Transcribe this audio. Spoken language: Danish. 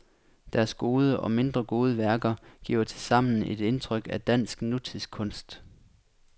Deres gode og mindre gode værker giver tilsammen et indtryk af dansk nutidskunst.